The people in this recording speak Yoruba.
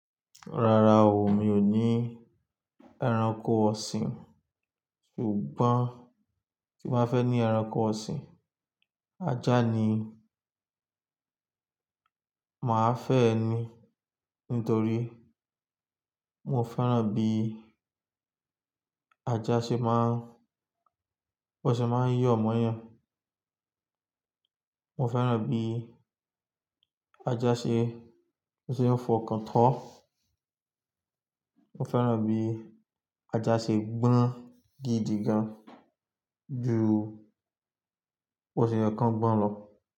Rárá o, mi ò ní ẹranko ọ̀sìn, ṣùgbọ́n tí màá fẹ́ ní ẹranko ọ̀sìn, ajá ni màá fẹ́ ẹni nítorí mo fẹ́ràn bí ajá ṣe má ń, ó ṣe má ń yọ̀ mọ́yàn. Mo fẹ́ràn bí ajá ṣe, ó ṣe ń fọkàn tó. Mo fẹ́ràn bí ajá ṣe gbóná gidi gan ju ó ṣe ń kán gbọ́n lọ.